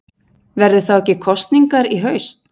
Verða þá ekki kosningar í haust?